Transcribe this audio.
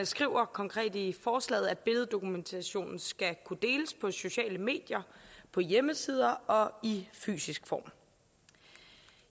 skriver konkret i forslaget at billeddokumentationen skal kunne deles på sociale medier på hjemmesider og i fysisk form